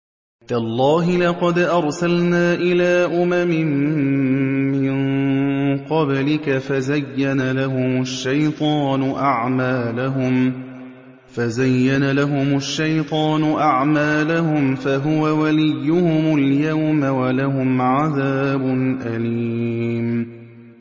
تَاللَّهِ لَقَدْ أَرْسَلْنَا إِلَىٰ أُمَمٍ مِّن قَبْلِكَ فَزَيَّنَ لَهُمُ الشَّيْطَانُ أَعْمَالَهُمْ فَهُوَ وَلِيُّهُمُ الْيَوْمَ وَلَهُمْ عَذَابٌ أَلِيمٌ